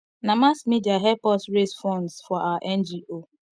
na mass media help us raise funds for our ngo